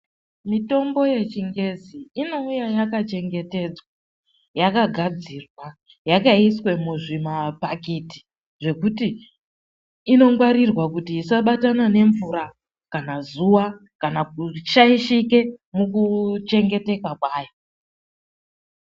Mitombo yechingezi inouya yakachengetedzwa, yakagadzirwa yakaiswe muzvimabhakiti zvekuti inongwarirwa kuti isabatana nemvura kana zuva kana kushaishike mukuchengeteka kwayo.